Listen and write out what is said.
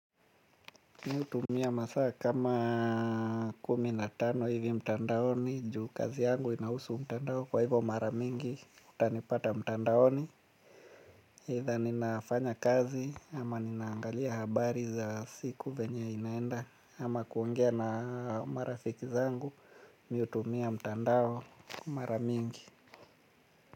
Mi hutumia masaa kama kumi na tano hivi mtandaoni juu kazi yangu inahusu mtandao kwa hivyo mara mingi utanipata mtandaoni Either ninafanya kazi ama ninaangalia habari za siku venye inaenda. Ama kuongea na marafiki zangu mi hutumia mtandao mara mingi.